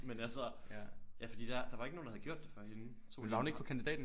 Men altså ja fordi der der var ikke nogen der havde gjort det før hende tog en pause